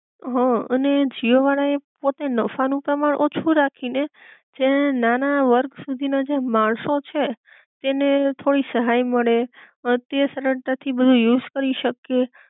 હઅ અને જીઓ વાળાએ પોતે નફા નું પ્રમાણ ઓછું રાખી ને જે નાના વર્ગ સુધી ના જે માણસો છે તેને થોડી સહાય મળે, અ તે સરળતા થી બધુ યુઝ કરી શકીએ